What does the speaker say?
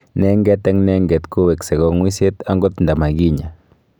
Nenget eng nenget koweksei kang'uiset angot ndimakinya